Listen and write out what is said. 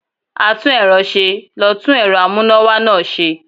atún erò se, lo tún erò amuna-wa naa se